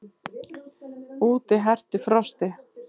Úti herti frostið.